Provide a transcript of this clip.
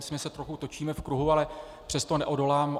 Myslím, že se trochu točíme v kruhu, ale přesto neodolám.